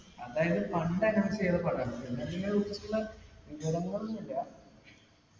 അതായത് പണ്ട് announce ചെയ്ത് പടാ ണ്.